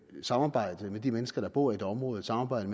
samarbejde med de mennesker der bor i et område et samarbejde